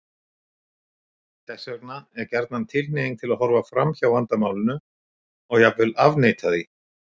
Þess vegna er gjarnan tilhneiging til að horfa fram hjá vandamálinu og jafnvel afneita því.